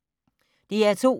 DR2